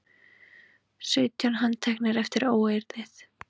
Sautján handteknir eftir óeirðir